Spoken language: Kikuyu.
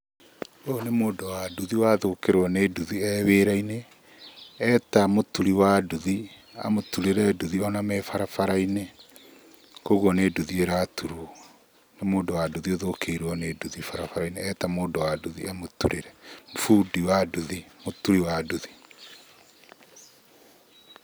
Ũyũ nĩ mũndũ wa nduthi wathũkĩrwo nĩ nduthi e wĩra-inĩ, eta mũturi wa nduthi amũturĩre nduthi o na me barabara-inĩ, kũguo nĩ nduthi ĩraturwo, nĩ mũndũ wa nduthi ũthũkĩirwo nĩ nduthi barabara-inĩ eta mũndũ wa nduthi amũturĩre, bundi wa nduthi mũturi wa nduthi.